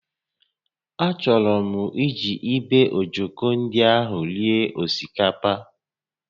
Achọrọ m iji ibe ojoko ndị a rie osikapa